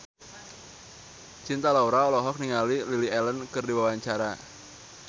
Cinta Laura olohok ningali Lily Allen keur diwawancara